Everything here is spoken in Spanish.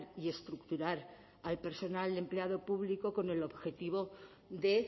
y estructurar al personal empleado público con el objetivo de